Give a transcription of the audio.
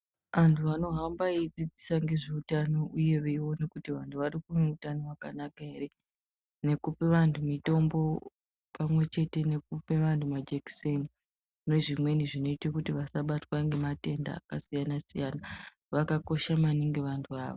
Antu anohamba eidzidzisa ngezveutano uye veiona kuti vantu vane utano hwakanaka ere. Nekupe vantu mitombo pamwe chete nekupe vantu majekiseni nezvimweni zvinota kuti vasabatwa ngematenda akasiyana-siyana, vakakosha maningi vantu ava.